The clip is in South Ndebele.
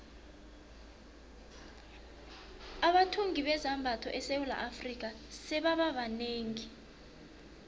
abathungi bezambatho esewula afrika sebaba banengi